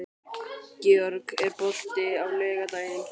Georg, er bolti á laugardaginn?